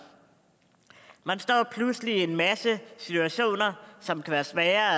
man står pludselig i en masse situationer som kan være svære